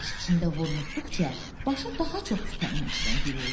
Təlaş içində vurnuxduqca başı daha çox küpənin içinə girirdi.